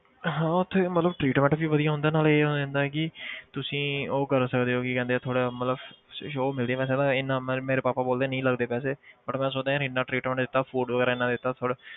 ਹਾਂ ਉੱਥੇ ਮਤਲਬ treatment ਵੀ ਵਧੀਆ ਹੁੰਦਾ ਨਾਲੇ ਇਹ ਹੋ ਜਾਂਦਾ ਕਿ ਤੁਸੀਂ ਉਹ ਕਰ ਸਕਦੇ ਹੋ ਕੀ ਕਹਿੰਦੇ ਆ ਥੋੜ੍ਹਾ ਮਤਲਬ show ਮਿਲਦੀ ਹੈ ਮਤਲਬ ਇੰਨਾ ਮ~ ਮੇਰੇ ਪਾਪਾ ਬੋਲਦੇ ਨਹੀਂ ਲੱਗਦੇ ਪੈਸੇ but ਮੈਂ ਸੋਚਦਾ ਯਾਰ ਇੰਨਾ treatment ਦਿੱਤਾ food ਵਗ਼ੈਰਾ ਇੰਨਾ ਦਿੱਤਾ ਥੋੜ੍ਹੇ,